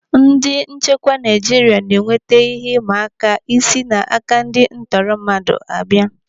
Ndị nchekwa Naijiria na-enweta ihe ị mma aka si n'aka ndị ntọrọmmadụ a bịa.